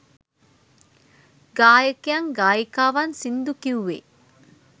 ගායකයන් ගායිකාවන් සිංදු කිව්වේ